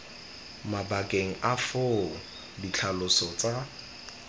mabakeng a foo ditlhaloso tsa